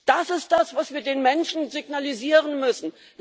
Das ist das, was wir den Menschen signalisieren müssen.